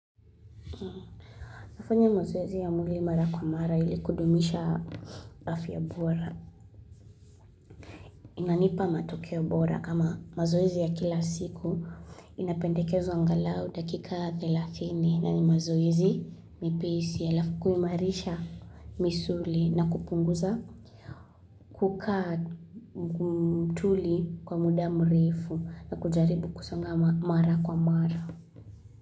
Nafanya mazoezi ya mwili mara kwa mara ili kudumisha afya bora. Inanipa matokeo bora kama mazoezi ya kila siku inapendekezwa angalau dakika 30 na ni mazoezi mepesi halafu kuimarisha misuli na kupunguza kukaa mtuli kwa muda mrefu na kujaribu kusonga mara kwa mara.